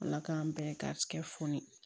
Ala k'an bɛɛ garisigɛ foni